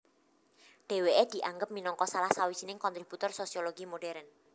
Dheweke dianggap minangka salah sawijining kontributor sosiologi modern